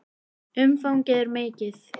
Umfangið er mikið.